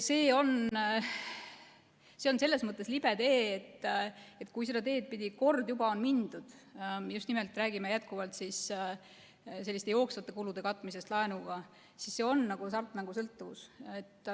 See on aga selles mõttes libe tee, et kui seda teed pidi kord juba on mindud – räägime jätkuvalt just nimelt jooksvate kulude katmisest laenuga –, siis see on nagu hasartmängusõltuvus.